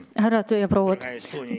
Härrad ja prouad!